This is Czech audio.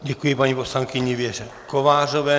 Děkuji paní poslankyni Věře Kovářové.